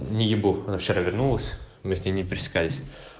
видит бог она вчера вернулась мы с ней не пересекались